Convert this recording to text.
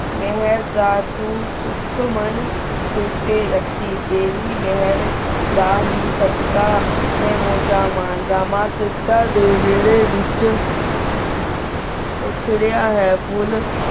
ਮੇਹੇਰ ਦਾ ਤੂੰ ਸੁਖ ਮੂਨ ਸੇਰ ਟੀ ਰਖੀ ਤੇਰੀ ਮਹੇਰ ਦਾ ਹੇਇ ਸਾਧ ਖਾ ਮੈਂ ਮੁਝਾਂ ਮੇਰ ਦਾਮਾਨ ਸੁਖ੍ਤਾਂ ਡੀ ਵੇਰੀ ਵੇਚ ਖਿਲੀ ਹੂਯ ਫੁਲ